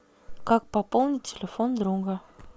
как пополнить телефон друга